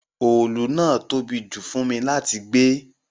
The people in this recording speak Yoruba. Òòlù náà tóbi jù fún mi láti gbé